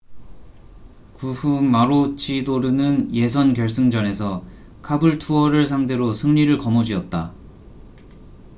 그 후 마로치도르는 예선 결승전에서 카불투어를 상대로 승리를 거머쥐었다